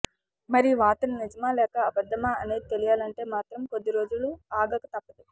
మరి ఈ వార్త నిజామా లేక అబద్దమా అనేది తెలియాలంటే మాత్రం మరికొద్ది రోజులు ఆగక తప్పదు